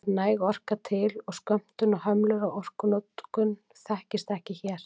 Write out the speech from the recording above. Það er næg orka til og skömmtun og hömlur á orkunotkun þekkist ekki hér.